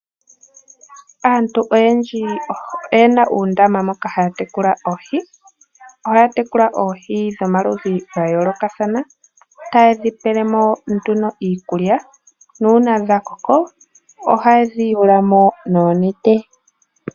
Aantu oyendji oye na uundama moka haa tekula oohi nohaa tekula oohi dhomaludhi ga yoolokathana. Ohaye dhi pele mo iikulya nuuna dha koko ohaye dhi yulu mo noonete.